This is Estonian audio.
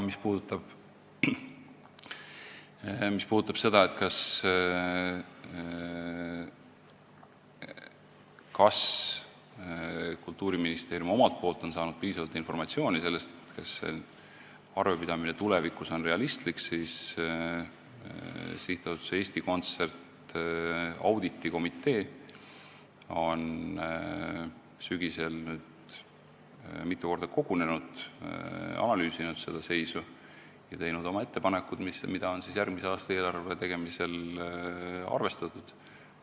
Mis aga puudutab seda, kas Kultuuriministeerium on saanud piisavalt informatsiooni selle kohta, kas arvepidamine on tulevikus realistlik, siis ütlen, et SA Eesti Kontsert auditikomitee on sügisel mitu korda kogunenud, ta on analüüsinud seda seisu ja teinud oma ettepanekud, mida on järgmise aasta eelarve tegemisel arvestatud.